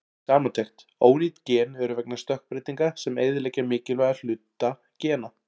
Samantekt: Ónýt gen eru vegna stökkbreytinga sem eyðileggja mikilvæga hluta gena.